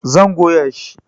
Zan goya shi